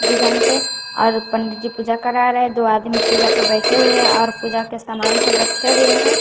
Design से और पंडित जी पूजा करा रहे दो आदमी पूजा पर बैठे हुए हैं और पूजा के सामान सब रखे हुए हैं।